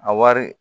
A wari